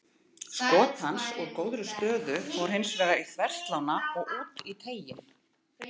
Skot hans úr góðri stöðu fór hins vegar í þverslánna og út í teiginn.